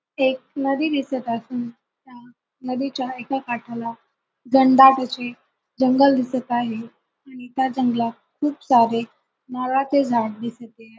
एक नदी दिसत असून त्या नदीच्या एका काठाला घनदाट असे जंगल दिसत आहे आणि त्या जंगलात खूप सारे नारळाचे झाड दिसते.